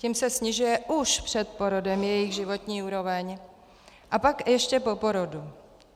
Tím se snižuje už před porodem jejich životní úroveň a pak ještě po porodu.